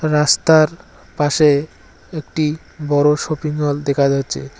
রাস্তার পাশে একটি বড়ো শপিং মল দেখা যাচ্ছে।